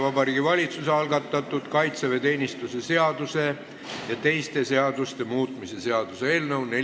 Vabariigi Valitsuse algatatud kaitseväeteenistuse seaduse ja teiste seaduste muutmise seadus on vastu võetud.